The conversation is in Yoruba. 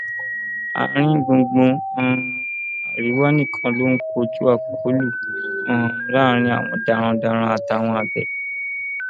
àáríngbùngbùn um àríwá nìkan ló ń kojú akólú um láàrin àwọn darandaran àtàwọn àgbẹ